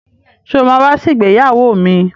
Sọ ma wá sí ìgbéyàwó mi?